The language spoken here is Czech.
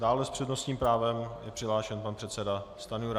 Dále s přednostním právem je přihlášen pan předseda Stanjura.